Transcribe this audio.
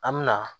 An bɛ na